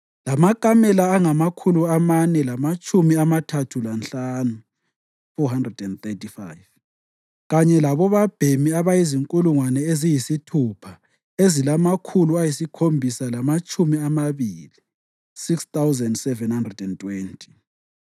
lamakamela angamakhulu amane lamatshumi amathathu lanhlanu (435) kanye labobabhemi abazinkulungwane eziyisithupha ezilamakhulu ayisikhombisa lamatshumi amabili (6,720).